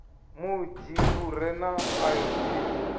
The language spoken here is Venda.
munzhi u re na ayodini